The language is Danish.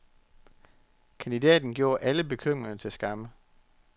Kandidaten gjorde alle bekymringer til skamme.